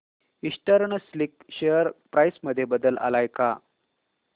eastern silk share price मध्ये बदल आलाय का